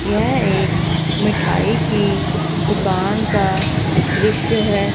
यह एक मिठाई की दुकान का दृश्य है।